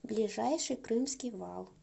ближайший крымский вал